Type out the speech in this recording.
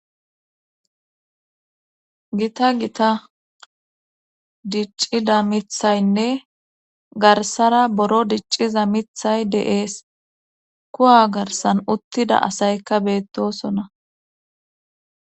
gita gita diccida mithaynne garsara buro dicciza mithay dees kuwa garsan uttida asaykka beettosona